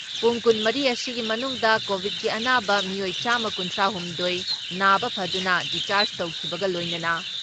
ꯄꯨꯡ ꯀꯨꯟ ꯃꯔꯤ ꯑꯁꯤꯒꯤ ꯃꯅꯨꯡꯗ ꯀꯣꯚꯤꯠꯀꯤ ꯑꯅꯥꯕ ꯃꯤꯑꯣꯏ ꯆꯥꯝꯃ ꯀꯨꯟꯊ꯭ꯔꯥ ꯍꯨꯝꯗꯣꯏ ꯅꯥꯕ ꯐꯗꯨꯅ ꯗꯤꯁꯆꯥꯔꯖ ꯇꯧꯈꯤꯕ ꯂꯣꯏꯅꯅ